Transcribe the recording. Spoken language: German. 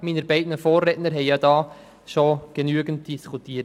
Meine beiden Vorredner haben hierzu bereits genügend darüber diskutiert.